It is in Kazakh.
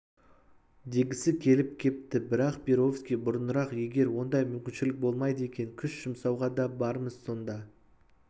дегісі келіп кетті бірақ перовский бұрынырақ егер ондай мүмкіншілік болмайды екен күш жұмсауға да бармыз сонда